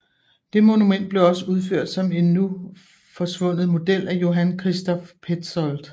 Det monument blev også udført som en nu forsvundet model af Johann Christoph Petzold